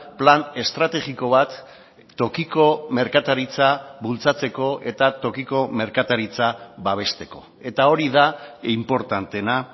plan estrategiko bat tokiko merkataritza bultzatzeko eta tokiko merkataritza babesteko eta hori da inportanteena